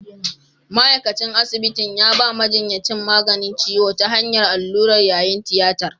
Ma’aikacin asibitin ya ba majinyacin maganin ciwo ta hanyar allura yayin tiyatar.